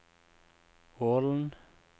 Ålen